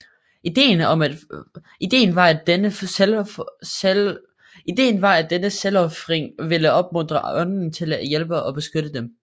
Idéen var at denne selvofring ville opmuntre ånderne til at hjælpe og beskytte dem